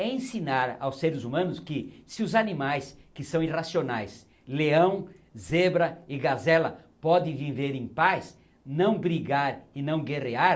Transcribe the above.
É ensinar aos seres humanos que se os animais que são irracionais, leão, zebra e gazela, podem viver em paz, não brigar e não guerrear,